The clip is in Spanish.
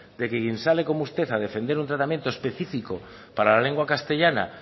de quien sale como usted a defender un tratamiento especifico para la lengua castellana